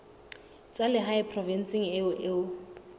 tsa lehae provinseng eo o